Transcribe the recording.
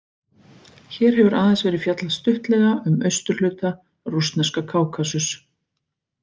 Hér hefur aðeins verið fjallað stuttlega um austurhluta rússneska Kákasus.